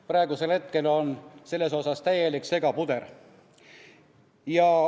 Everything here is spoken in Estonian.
Praegu on selles täielik segapuder.